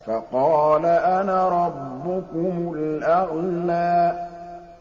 فَقَالَ أَنَا رَبُّكُمُ الْأَعْلَىٰ